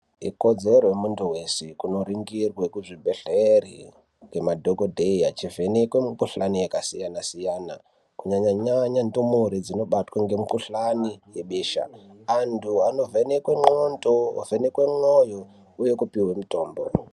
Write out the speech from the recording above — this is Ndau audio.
Ikodzero yemuntu weshe kundonongirwa kuzvibhedhlera ngemadhokodheya achivhenekwe mukuhlani yakasiyana siyana kunyanya ndumure dzinobatwa nemikuhlani yebesha anhu anovhenekwa ngonxo ovhenekwe mwoyo uye kupuhwa mutombo.